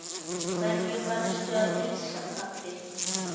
Hverjum varstu að heilsa, pabbi?